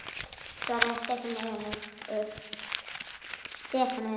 Nei svaraði Stefán önugur.